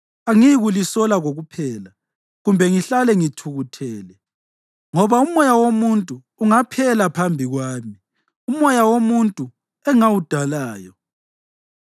Angiyikulisola kokuphela kumbe ngihlale ngithukuthele, ngoba umoya womuntu ungaphela phambi kwami, umoya womuntu engawudalayo.